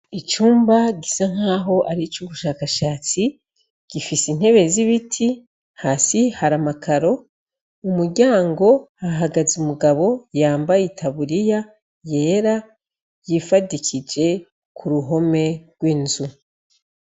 Icumba gisa nk'aho ari ic'ubushakashatsi, hasi hari amakaro, umuryango hahagaze umugabo yambaye itaburiya yera yifadikije kuruhome rw'inzu.